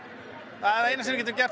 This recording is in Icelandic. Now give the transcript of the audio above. það eina sem við getum gert